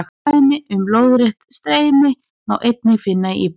Dæmi um lóðrétt streymi má einnig finna í íbúðinni.